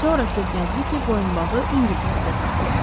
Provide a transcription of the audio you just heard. Sonra söz gəzdi ki, boyunbağı İngiltərədə satılıb.